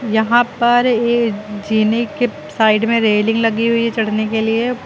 यहां पर ये जीने के साइड में रेलिंग लगी हुई है चढ़ने के लिए।